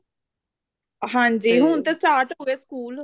ਹਾਂਜੀ ਹੁਣ ਤੇ start ਹੋ ਗਏ school